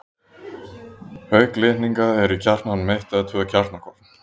Auk litninga eru í kjarnanum eitt eða tvö kjarnakorn.